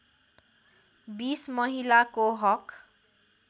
२० महिलाको हक